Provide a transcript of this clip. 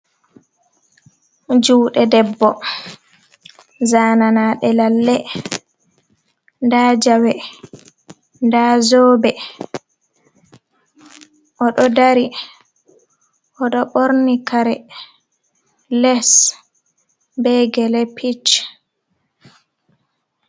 Jude debbo zananade lalle ,dajawe da zobe o do dari o do borni kare les be gelepich.